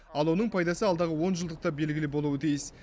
ал оның пайдасы алдағы онжылдықта белгілі болуы тиіс